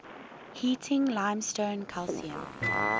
heating limestone calcium